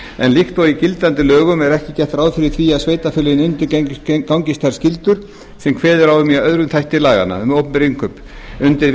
en líkt og í gildandi lögum er ekki gert ráð fyrir því að sveitarfélögin undirgangist þær skyldur sem kveðið er á um í aðra þætti laganna um opinber innkaup undir